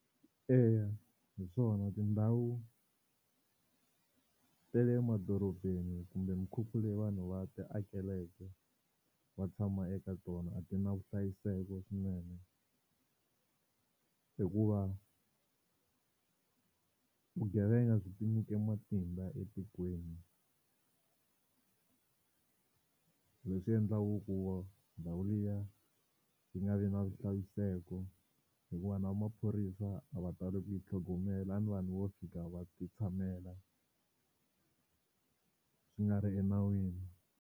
Eya hi swona tindhawu ta le emadorobeni kumbe mikhukhu leyi vanhu va ti akeleke va tshama eka tona a ti na vuhlayiseko swinene, hikuva vugevenga byi tinyike matimba etikweni leswi endlaku ku ndhawu liya yi nga vi na vuhlayiseko hikuva na maphorisa a va tali ku yi tlhogomela ni vanhu vo fika va ti tshamela swi nga ri enawini.